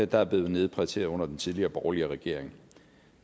der er blevet nedprioriteret under den tidligere borgerlige regering